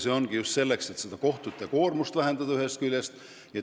See ongi mõeldud just selleks, et ühest küljest kohtute koormust vähendada.